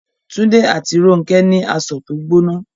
Túndé àti Rónkẹ́ ní asọ̀ tó gbóná